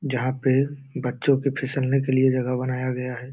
जहाँ पे बच्चों के फिसलने के लिए जगह बनाया गया है।